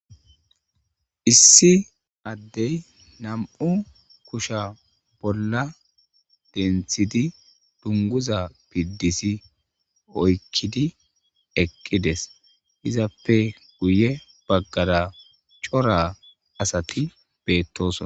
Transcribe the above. issi addey nam'u kusha bolla denthidi dunguza piddisi oykkidi eqqides, izappe guye baggara cora asati betosona.